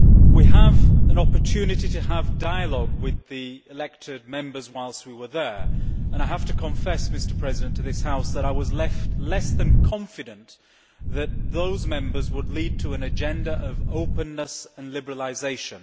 We had an opportunity to have a dialogue with the elected Members whilst we were there, and I have to confess to this House that I was left less than confident that those Members would lead to an agenda of openness and liberalisation.